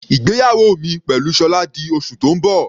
Ìgbéyàwó mi pẹ̀lú Sola di oṣù tó ń bọ̀.